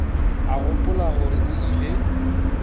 a gopola gore o ile